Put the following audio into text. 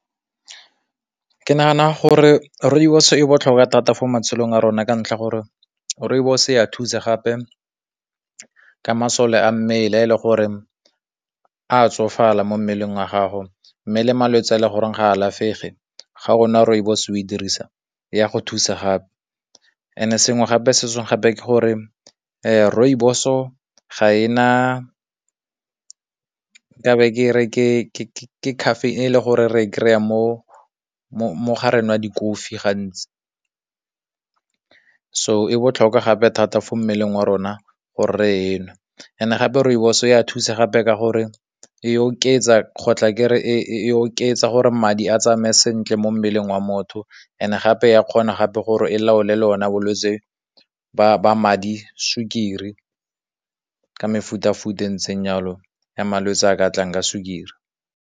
Ke nagana gore rooibos e botlhokwa thata mo matshelong a rona ka ntlha gore, rooibos ya thuse gape ke masole a mmele a le gore a tsofala mo mmeleng wa gago, mme le malwetse a e le goreng ga alafege ga rooibos o e dirisa, ya go thusa gape and sengwe gape gape ke gore rooibos o ga ena caffeine gore re kry-a mo di kofi gantsi, so e botlhokwa gape thata mo mmeleng wa rona gore nwa and gape rooibos ya thuse gape ka gore e oketsa ke re e oketsa gore madi a tsamaye sentle mo mo mmeleng wa motho and gape ya kgona gape gore e laole le ona bo lwetsi ba madi sukiri ka mefuta futa ntseng jalo ya malwetse a ka tlang a sukiri.